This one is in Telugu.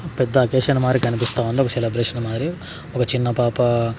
పెద్ద అకేషన్ మారి కనిపిస్తుంది ఒక సెలబ్రేషన్ మాదిరి ఒక చిన్న పాప.